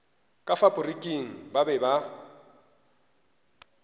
ka faporiking ba be ba